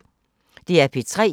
DR P3